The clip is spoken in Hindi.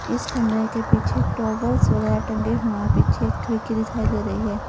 इस कमरे के पीछे टॉवल्स वगैरा टंगे हुए पीछे खिड़की दिखाई दे रही है।